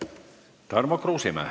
Tarmo Kruusimäe.